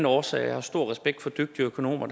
årsag jeg har stor respekt for dygtige økonomer